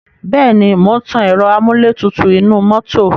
Bẹ́ẹ̀ ni, mò ń tan ẹ̀ro amúlétutù inú mọ́tò.